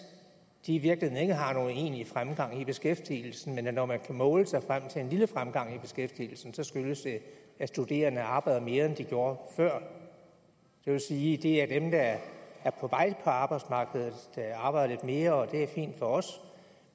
i virkeligheden ikke har nogen egentlig fremgang i beskæftigelsen og når man kan måle sig frem til en lille fremgang i beskæftigelsen skyldes det at studerende arbejder mere end de gjorde før det vil sige at det er dem der er er på vej på arbejdsmarkedet der arbejder mere og det er fint for os